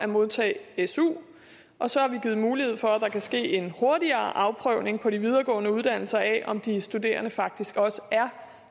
modtage su og så har vi givet mulighed for at der kan ske en hurtigere afprøvning på de videregående uddannelser af om de studerende faktisk også er